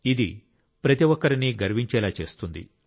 ఇది ప్రతి ఒక్కరినీ గర్వించేలా చేస్తుంది